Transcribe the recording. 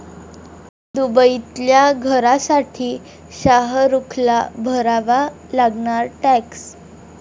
दुबईतल्या घरासाठी शाहरूखला भरावा लागणार टॅक्स